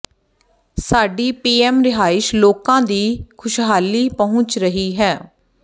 ਸਾਡੀ ਪੀਐੰਮ ਰਿਹਾਇਸ਼ ਲੋਕਾਂ ਦੀ ਖ਼ੁਸ਼ਹਾਲੀ ਪਹੁੰਚ ਰਹੀ ਹੈ